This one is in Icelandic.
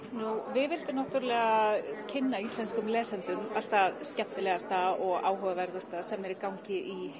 við vildum kynna íslenskum lesendum allt það skemmtilegasta og áhugaverðasta sem er í gangi í